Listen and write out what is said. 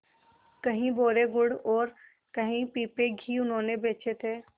कई बोरे गुड़ और कई पीपे घी उन्होंने बेचे थे